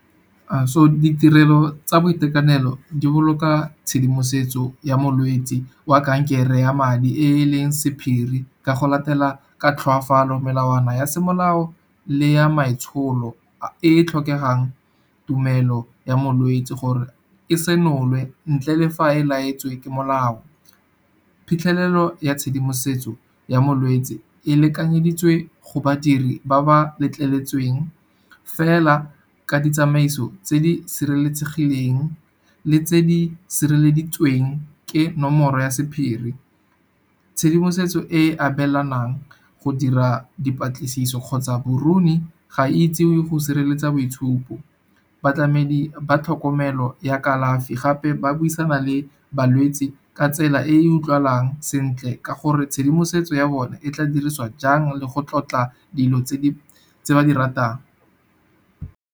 So, ditirelo tsa boitekanelo di boloka tshedimosetso ya molwetse wa kankere ya madi e e leng sephiri ka go latela ka tlhoafalo melawana ya semolao le ya maitsholo e e tlhokegang tumelo ya molwetse gore e senolwe ntle le fa e laetswe ke molao. Phitlhelelo ya tshedimosetso ya molwetse e lekanyeditswe go badiri ba ba letleletsweng, fela ka ditsamaiso tse di sireletsegileng le tse di sireleditsweng ke nomoro ya sephiri. Tshedimosetso e e abelanang go dira dipatlisiso kgotsa ga e itsewe go sireletsa boitshupo. Batlamedi ba tlhokomelo ya kalafi gape ba buisana le balwetse ka tsela e e utlwalang sentle, ka gore tshedimosetso ya bone e tla dirisiwa jang le go tlotla dilo tse ba di ratang.